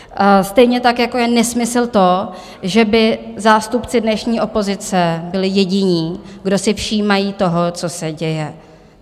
Stejně tak jako je nesmysl to, že by zástupci dnešní opozice byli jediní, kdo si všímají toho, co se děje.